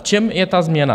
V čem je ta změna?